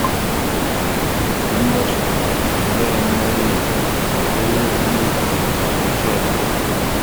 киношка хозяин морей на краю земли включай